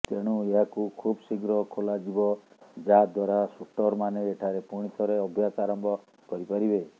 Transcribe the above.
ତେଣୁ ଏହାକୁ ଖୁବଶୀଘ୍ର ଖୋଲାଯିବ ଯାହାଦ୍ୱାରା ଶୁଟରମାନେ ଏଠାରେ ପୁଣିଥରେ ଅଭ୍ୟାସ ଆରମ୍ଭ କରିପାରିବେ